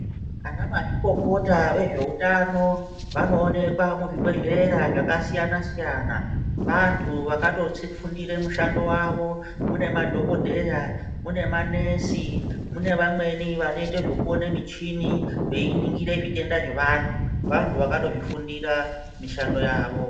Anamazvikokota vezveutano vanoonekwa muzvibhedhlera zvakasiyana siyana vantu vakatofundire mushando wavo munemadhokodheya, mune manesi munevamweni vanoita zvokuona michini veiningire zvitenda zvevantu. Vantu vatozvifundura mishando yavo.